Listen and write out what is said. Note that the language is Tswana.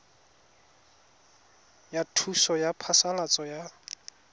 ya thuso ya phasalatso ya